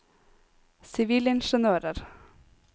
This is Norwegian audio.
sivilingeniører